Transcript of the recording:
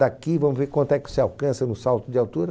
Daqui vamos ver quanto é que você alcança no salto de altura.